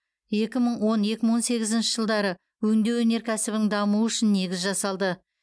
екі мың он екі мың он сегізінші жылдары өңдеу өнеркәсібінің дамуы үшін негіз жасалды